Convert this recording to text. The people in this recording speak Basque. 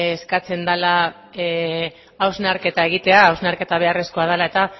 eskatzen dela hausnarketa egitea hausnarketa beharrezkoa dela eta